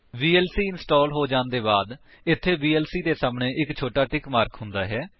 VLC install ਹੋ ਜਾਣ ਦੇ ਬਾਅਦ ਇੱਥੇ ਵੀਐਲਸੀ ਦੇ ਸਾਹਮਣੇ ਇੱਕ ਛੋਟਾ ਟਿਕ ਮਾਰਕ ਹੁੰਦਾ ਹੈ